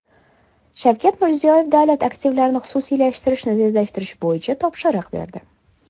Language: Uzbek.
Shavkat Mirziyoyev davlat aktivlarini xususiylashtirishni tezlashtirish bo‘yicha topshiriq berdi.